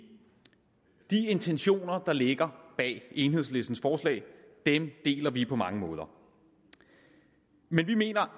intentioner der ligger bag enhedslistens forslag deler vi på mange måder men vi mener